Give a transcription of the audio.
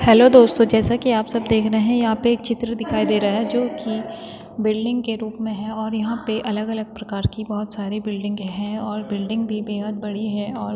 hello दोस्तों जैसा की आप सब देख रहे हैं यहाँ पे एक चित्र दिखाई दे रहा जो की बिल्डिंग के रूप में है और यहाँ पे अलग अलग प्रकार की बहोत सारी बिल्डिंग है और बिल्डिंग भी बेहद बड़ी है और --